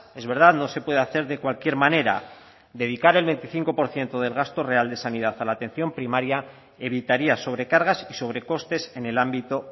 es verdad no se puede hacer de cualquier manera dedicar el veinticinco por ciento del gasto real de sanidad a la atención primaria evitaría sobrecargas y sobrecostes en el ámbito